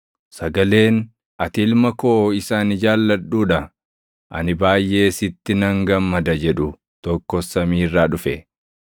Sagaleen, “Ati Ilma koo isa ani jaalladhuu dha; ani baayʼee sitti nan gammada” jedhu tokkos samii irraa dhufe.